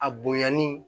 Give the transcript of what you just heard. A bonyani